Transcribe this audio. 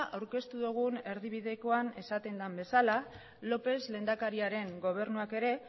aurkeztu dugun erdibidekoan esaten den bezala lópez lehendakariaren gobernuak ere